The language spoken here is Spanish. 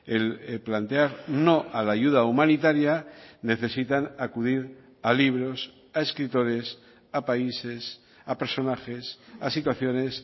el plantear no a la ayuda humanitaria necesitan acudir a libros a escritores a países a personajes a situaciones